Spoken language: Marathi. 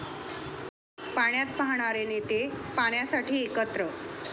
पाण्यात पाहणारे नेते पाण्यासाठी एकत्र!